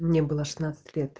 мне было шестнадцать лет